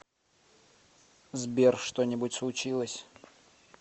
сбер что нибудь случилось